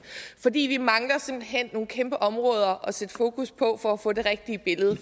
for vi mangler simpelt hen nogle kæmpe områder at sætte fokus på for at få det rigtige billede